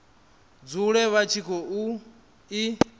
dzule vha tshi khou i